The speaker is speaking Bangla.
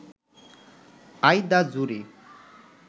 I the jury